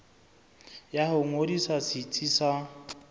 ya ho ngodisa setsi sa